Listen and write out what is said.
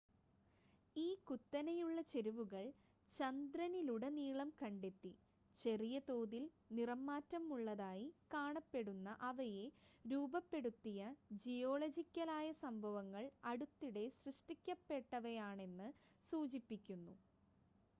ഈ കുത്തനെയുള്ള ചെരിവുകൾ ചന്ദ്രനിലുടനീളം കണ്ടെത്തി ചെറിയ തോതിൽ നിറംമാറ്റമുള്ളതായി കാണപ്പെടുന്ന അവയെ രൂപപ്പെടുത്തിയ ജിയോളജിക്കലായ സംഭവങ്ങൾ അടുത്തിടെ സൃഷ്ടിക്കപ്പെട്ടവയാണെന്ന് സൂചിപ്പിക്കുന്നു